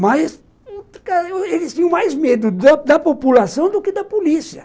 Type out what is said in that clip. Mas eles tinham mais medo da da população do que da polícia.